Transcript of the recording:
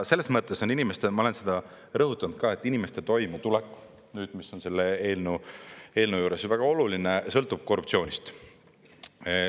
Selles mõttes on inimestel, ma olen seda rõhutanud ka, et inimeste toimetulek, mis on selle eelnõu juures väga oluline, sõltub korruptsioonist.